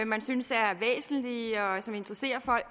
man synes er væsentlige og som interesserer folk